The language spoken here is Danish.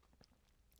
DR2